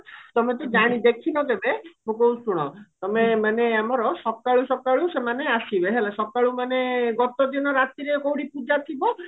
ତମେ ତ ଜାଣି ଦେଖିନ କେବେ ମୁଁ କହୁଛି ଶୁଣ ତମେ ମାନେ ଆମର ସକାଳୁ ସକାଳୁ ସେମାନେ ଆସିବେ ହେଲା ସକାଳୁ ମାନେ ଗତ ଦିନ ରାତିରେ କଉଠି ପୂଜା ଥିବ